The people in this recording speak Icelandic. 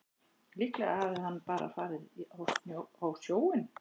Líklega hafði hann bara farið á sjóinn.